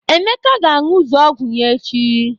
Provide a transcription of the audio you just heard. Emeka ga-aṅụzu ọgwụ ya echi.